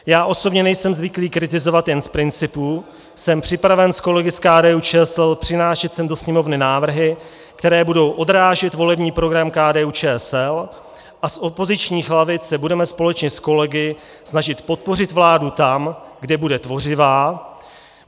Já osobně nejsem zvyklý kritizovat jen z principu, jsem připraven s kolegy z KDU-ČSL přinášet sem do Sněmovny návrhy, které budou odrážet volební program KDU-ČSL a z opozičních lavic se budeme společně s kolegy snažit podpořit vládu tam, kde bude tvořivá.